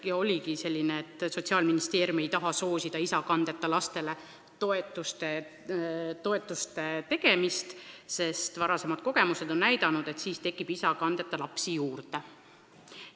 Vastus oligi selline, et Sotsiaalministeerium ei taha soosida isakandeta lastele suurema toe määramist, sest varasemad kogemused on näidanud, et siis tekib isakandeta lapsi juurde.